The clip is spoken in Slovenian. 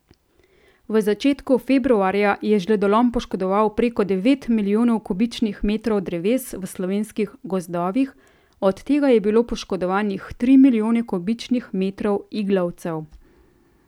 V začetku februarja je žledolom poškodoval preko devet milijonov kubičnih metrov dreves v slovenskih gozdovih, od tega je bilo poškodovanih tri milijone kubičnih metrov iglavcev.